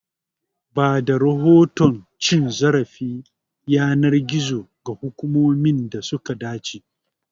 Bada rahoton cin zarafin yanar gizo ga hukumomin da suka dace.